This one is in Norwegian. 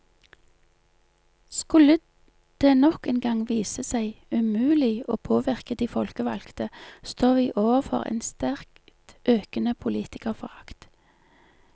Skulle det nok en gang vise seg umulig å påvirke de folkevalgte, står vi overfor en sterkt økende politikerforakt.